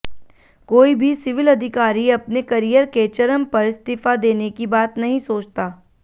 कोई भी सिविल अधिकारी अपने करियर के चरम पर इस्तीफा देने की बात नही सोचता